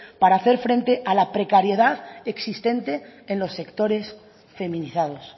para hacer frente a la precariedad existente en los sectores feminizados